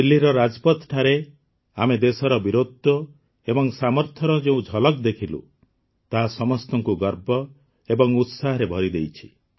ଦିଲ୍ଲୀର ରାଜପଥଠାରେ ଆମେ ଦେଶର ବୀରତ୍ୱ ଏବଂ ସାମର୍ଥ୍ୟର ଯେଉଁ ଝଲକ ଦେଖିଲୁ ତାହା ସମସ୍ତଙ୍କୁ ଗର୍ବ ଏବଂ ଉତ୍ସାହରେ ଭରିଦେଇଛି